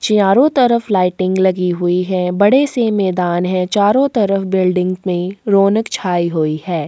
चारो तरफ लाइटिंग लगी हुई है बड़े से मैदान हैं चारो तरफ बिल्डिंग में रौनक छाई हुई हैं।